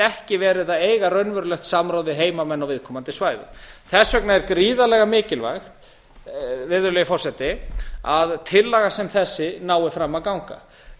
ekki verið að eiga raunverulegt samráð við heimamenn á viðkomandi svæðum þess vegna er gríðarlega mikilvæg virðulegi forseti að tillaga sem þessi nái fram að ganga